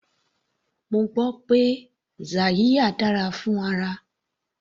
Mo gbọ́ pé yaxiya dára fún ara.